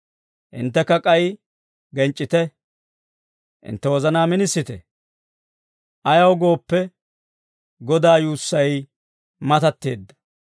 Hinttekka k'ay genc'c'ite; hintte wozanaa minisite. Ayaw gooppe, Godaa yuussay matatteedda.